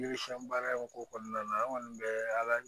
Yiri siɲɛn baara in ko kɔnɔna na an kɔni bɛ ala